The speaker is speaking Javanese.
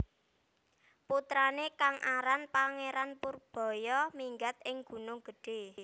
Putrané kang aran Pangeran Purbaya minggat ing Gunung Gedhé